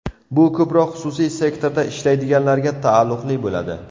Bu ko‘proq xususiy sektorda ishlaydiganlarga taalluqli bo‘ladi.